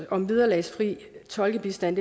om vederlagsfri tolkebistand